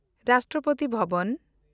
Rashtrapati Bhavan